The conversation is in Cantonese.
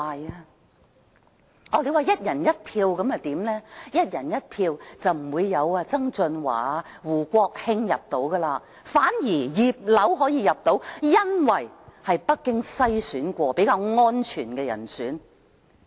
如果是"一人一票"的話，便不會有曾俊華、胡國興入閘參選，反而"葉劉"可以入閘，因為她是經北京篩選較安全的人選。